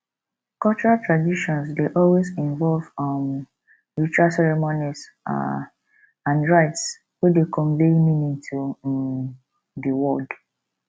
cultural tradition dey always involve um ritual ceremonies um and rites wey dey convey meaning to um di world